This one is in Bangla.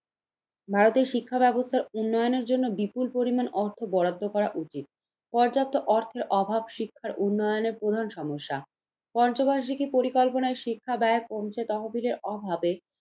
ভারতের শিক্ষা ব্যবস্থার উন্নয়নের জন্য বিপুল পরিমাণ অর্থ বরাদ্দ করা উচিত। পর্যাপ্ত অর্থের অভাব শিক্ষার উন্নয়নের প্রধান সমস্যা, পঞ্চবার্ষিকী পরিকল্পনার শিক্ষা ব্যয় কমছে তহবিলের অভাবে।